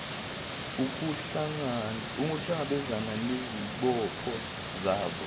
ukuhlangabezana nezibopho zabo